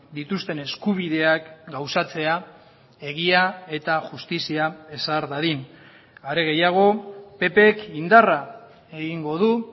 dituzten eskubideak gauzatzea egia eta justizia ezar dadin are gehiago ppk indarra egingo du